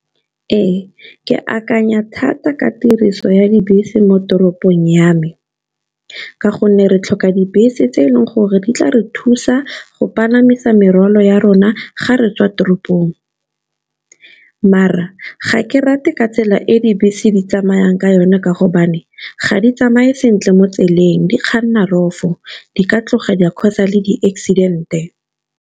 Ee, ke akanya thata ka tiriso ya dibese mo toropong ya me, ka gonne re tlhoka dibese tse eleng gore di tla re thusa go palamisa merwalo ya rona ga re tswa toropong. Maar-a ga ke rate ka tsela e dibese di tsamayang ka yone ka gobane, ga di tsamaye sentle mo tseleng di kganna rough-o, di ka tloga di a cause-a le di-accident-e.